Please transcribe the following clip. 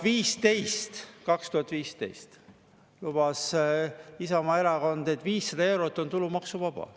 2015 lubas Isamaa Erakond, et 500 eurot on tulumaksuvaba.